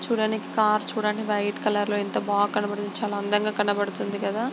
చూడండి కార్ చూడండి.వైట్ కలర్ లో ఎంత బాగా కనబడితే చాలా అందంగా కనబడుతుంది కదా.